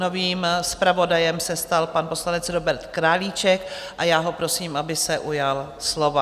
Novým zpravodajem se stal pan poslanec Robert Králíček a já ho prosím, aby se ujal slova.